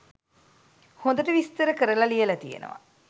හොඳට විස්තර කරලා ලියල තියෙනවා